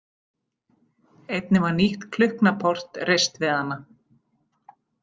Einnig var nýtt klukknaport reist við hana.